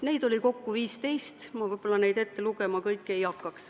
Huvigruppe oli kokku 15, ma ei hakkaks neid kõiki ette lugema.